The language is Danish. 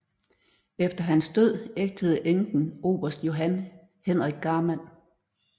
Efter hans død ægtede enken oberst Johan Henrik Garman